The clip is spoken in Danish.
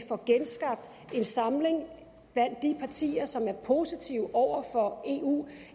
få genskabt en samling blandt de partier som er positive over for eu